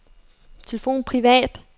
telefon privat